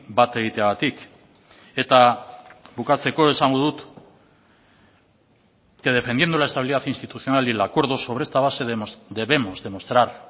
bat egiteagatik eta bukatzeko esango dut que defendiendo la estabilidad institucional y el acuerdo sobre esta base debemos demostrar